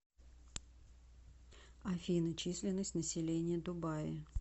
афина численность населения дубаи